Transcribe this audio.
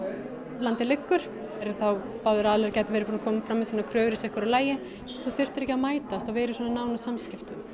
landið liggur og báðir aðilar gætu verið búnir að koma með sínar kröfur í sitthvoru lagi og þú þyrftir ekki að mætast og vera í svona nánum samskiptum